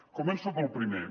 començo pel primer